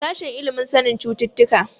Sashen ilimin sanin cututtuka.